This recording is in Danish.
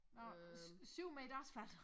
Nå 7 meter asfalt